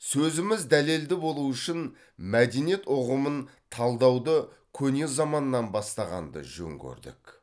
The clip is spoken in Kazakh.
сөзіміз дәлелді болу үшін мәдениет ұғымын талдауды көне заманнан бастағанды жөн көрдік